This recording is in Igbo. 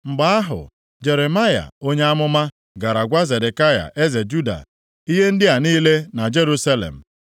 Mgbe ahụ, Jeremaya onye amụma gara gwa Zedekaya eze Juda ihe ndị a niile na Jerusalem.